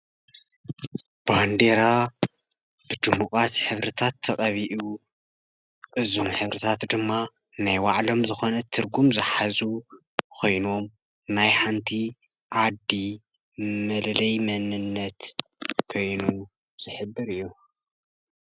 ባንዴራ ብድሙቃት ሕብርታት ተቀቢኡ እዞም ሕብርታት ድማ ናይ ባዕሎም ዝኮነ ትርጉም ዝሓዙ ኮይኖም ናይ ሓንቲ ዓዲ መለለዪ መንነት ኮይኑ ዝሕብር እዩ ።